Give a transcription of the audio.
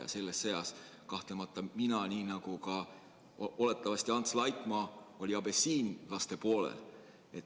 Ja selles sõjas kahtlemata nagu mina, nii oli oletatavasti ka Ants Laikmaa, abessiinlaste poolt.